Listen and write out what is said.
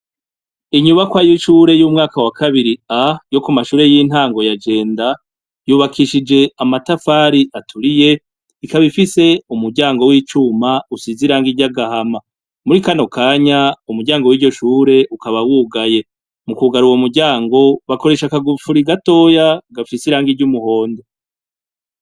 inyubako y' ishure y' umwaka wa kabiri A yo kumashure y' intango ya Jenda , yubakishij' amatafar' aturiy' ikab' ifis' umuryango w' icum' usiz' irangi ry' agahama, muri kano kany' umuryango wiryo shur'ukaba wugaye. Mu kugar' uwo muryango, bakoresh' akagufuri gatoya gafis' irangi ry' umuhondo.